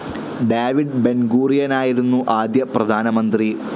David ബെൻഗൂറിയനായരുന്നു ആദ്യ പ്രധാനമന്ത്രി.